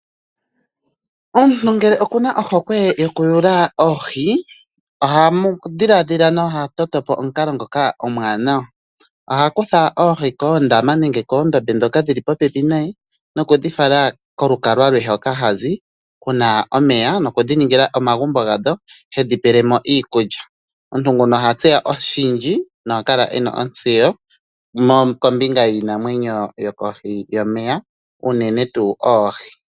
Omuntu ngele okuna ohokwe yoku yuula oohi. Oha dhiladhila nenge ta totopo omukalo ngoka omwanawa. Oha kutha oohi koondama nenge koondombe dhoka dhili popepi naye nokudhi fala kolukalwa lwe hoka hazi, kuna omeya nokudhiningila omagumbo gadho tedhi peelemo iikulya. Omuntu nguka oha tseya oshindji noha kala ena ontseyo kombinga yiinamwenyo yo kohi yomeya uunene tuu oohi.